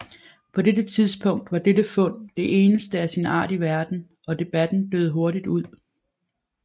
På dette tidspunkt var dette fund det eneste af sin art i verden og debatten døde hurtigt ud